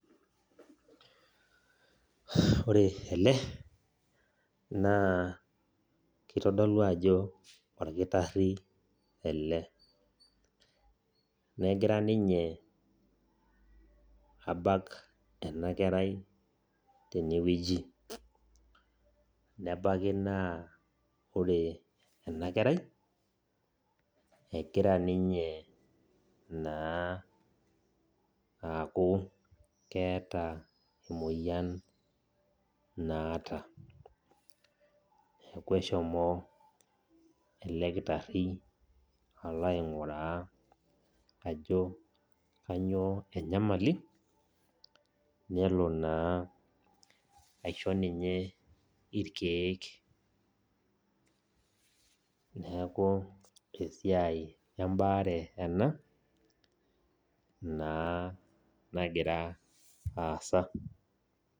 Ore ele, naa kitodolu ajo orkitarri ele. Negira ninye abak enakerai tenewueji. Nebaiki naa ore enakerai, egira ninye naa aaku keeta emoyian naata. Neeku eshomo ele kitarri alo aing'uraa ajo kanyioo enyamali, nelo naa aisho ninye irkeek. Neeku esiai ebaare ena, naa nagira aasa.